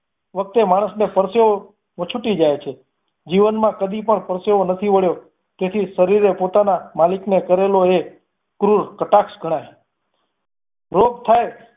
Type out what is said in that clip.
વખતે માણસ નો પરસેવો વછુટ્ટી જાય છે. જીવનમાં કદી પણ પરસેવો નથી વળ્યો તેથી શરીર એ પોતાના મલિક ને કરેલો એ ક્રૂર કટાક્ષ ગણાય રોગ થાય